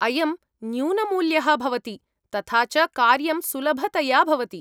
अयं न्यूनमूल्यः भवति, तथा च कार्यं सुलभतया भवति।